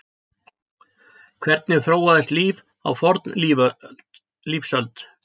Hvernig þróaðist líf á fornlífsöld?